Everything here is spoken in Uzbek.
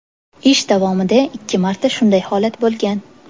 Ish davomida ikki marta shunday holat bo‘lgan.